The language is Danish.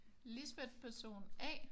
Lisbeth person A